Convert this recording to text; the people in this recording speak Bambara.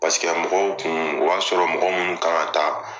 Paseke mɔgɔw kun o y'a sɔrɔ mɔgɔ munnu kan ka taa.